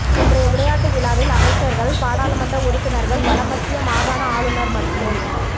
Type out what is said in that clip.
இன்றைய விளையாட்டு விழாவில் அமைச்சர்கள் பாராளுமன்ற உறுப்பினர்கள் வடமத்திய மாகாண ஆளுநர் மற்றும்